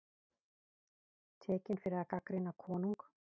Tekinn fyrir að gagnrýna konung